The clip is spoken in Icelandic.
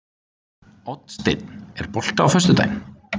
Oddsteinn, er bolti á föstudaginn?